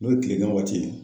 N'o ye kilegan waati ye.